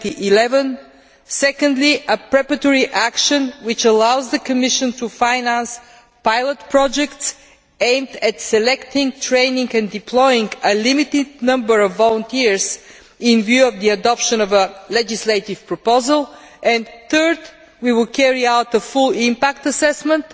2011. Secondly, a preparatory action which allows the Commission to finance pilot projects aimed at selecting, training and deploying a limited number of volunteers in view of the adoption of a legislative proposal. Third, we will carry out a full impact assessment